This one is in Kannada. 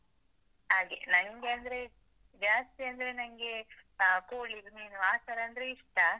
ಹಾಗೆ. ನಂಗೆ ಅಂದ್ರೆ ಜಾಸ್ತಿ ಅಂದ್ರೆ ನಂಗೆ ಕೋಳಿ, ಮೀನು ಆತರ ಅಂದ್ರೆ ಇಷ್ಟ.